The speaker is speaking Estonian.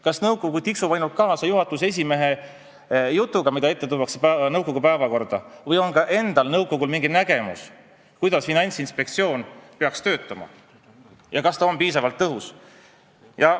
Kas nõukogu tiksub ainult kaasa juhatuse esimehe jutuga, mida on vaja võtta nõukogu päevakorda, või on ka nõukogul endal mingi nägemus, kuidas Finantsinspektsioon peaks töötama, ja kas ta on piisavalt tõhus?